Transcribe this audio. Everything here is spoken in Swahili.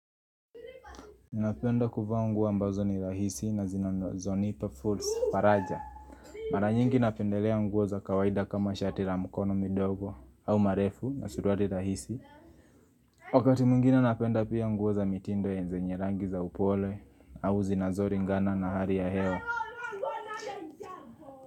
Napenda kuvaa nguo ambazo ni rahisi na zinanzonipa fulls faraja. Mara nyingi napendelea nguo za kawaida kama shati ra mkono midogo au marefu na suruali rahisi. Wakati mwingine napenda pia nguo za mitindo ya zenye rangi za upole au zinazoringana na hari ya hewa.